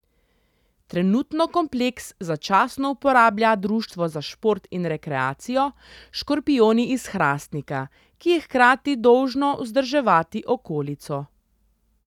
Trenutno kompleks začasno uporablja društvo za šport in rekreacijo Škorpijoni iz Hrastnika, ki je hkrati dolžno vzdrževati okolico.